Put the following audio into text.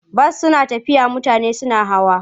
Bas tana tafiya mutane suna hawa.